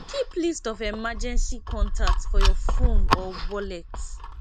keep list of emergency contact for your phone or wallet